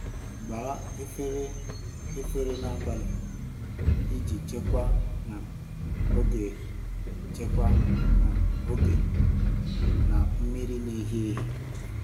Gbaa efere efere n'abalị iji chekwaa um oge chekwaa um oge na mmiri n'ehihie.